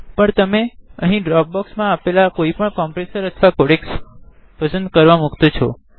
પણ તમે અહી ડ્રોપબોક્ક્ષમા આપેલા કોઇપણ કોમ્પ્રેસર્સ અથવા કોડેકસ પસંદ કરવા મુક્તે છો